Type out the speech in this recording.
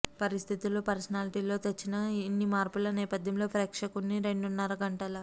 పరిస్థితులు పర్సనాలిటీల్లో తెచ్చిన ఇన్ని మార్పుల నేపద్యంలో ప్రేక్షకుణ్ణి రెండున్నర గంటల